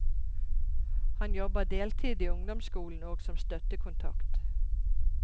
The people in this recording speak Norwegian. Han jobber deltid i ungdomsskolen og som støttekontakt.